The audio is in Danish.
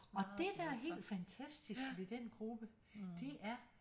Og det der er helt fantastisk ved den gruppe det er